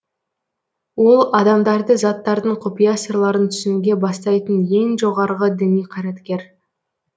ол адамдарды заттардың құпия сырларын түсінуге бастайтын ең жоғарғы діни қайраткер